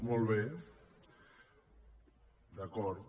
molt bé d’acord